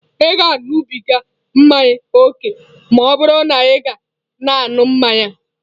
Ị ga-aṅụbiga mmanya ókè ma ọ bụrụ na ị ka na-aṅụ mmanya a.